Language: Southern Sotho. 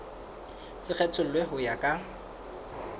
se kgethollwe ho ya ka